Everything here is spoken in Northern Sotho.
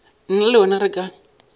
nna le wena re ka